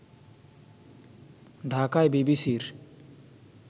ঢাকায় বিবিসির